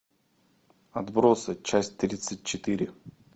отбросы часть тридцать четыре